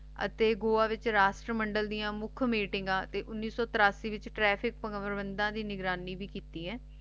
ਤੇ ਗੋਆ ਦੇ ਵਿਚ ਰਾਜ ਮੰਡਲ ਦੀਆ ਮੁਖ ਮੀਟਿੰਗਾਂ ਤੇ ਉਨੀਸ ਸੋ ਤਿਰਾਸੀ ਦੇ ਵਿਚ ਟ੍ਰੈਫਿਕ ਦੀ ਨਿਗਰਾਨੀ ਭੀ ਕਿੱਤੀ ਹੈ